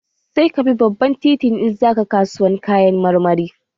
Sai ka bi babban titi in za ka kasuwar Kayan marmari